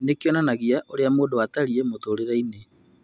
Nĩ kĩonanagia ũrĩa mũndũ atariĩ mũtũũrĩre-inĩ.